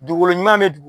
Dugukolo ɲuman bɛ dugu